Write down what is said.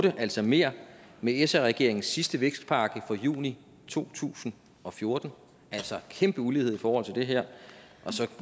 altså mere med sr regeringens sidste vækstpakke fra juli to tusind og fjorten altså en kæmpe ulighed i forhold til det her og så